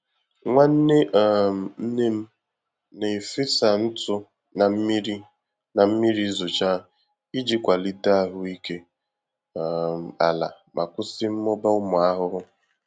Nwanne um nne m na-efesa ntụ na mmiri na mmiri zochaa iji kwalite ahụike um ala ma kwụsị mmụba ụmụ ahụhụ.